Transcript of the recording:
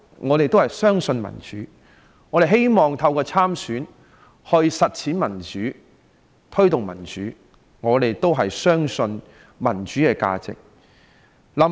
我們相信民主，希望透過參選區議員/立法會議員實踐並推動民主，因為我們相信民主的價值。